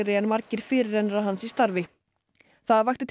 en margir fyrirrennarar hans í starfi það vakti til